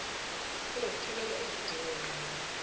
lokuthobela izi dingongqangi